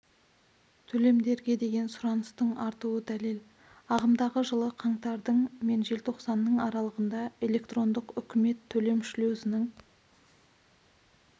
төлемдерге деген сұраныстың артуы дәлел ағымдағы жылы қаңтардың мен желтоқсанның аралығында электрондық үкімет төлем шлюзінің